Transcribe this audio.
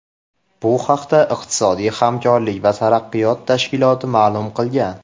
Bu haqda iqtisodiy hamkorlik va taraqqiyot tashkiloti ma’lum qilgan.